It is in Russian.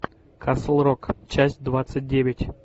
касл рок часть двадцать девять